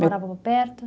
Morava perto?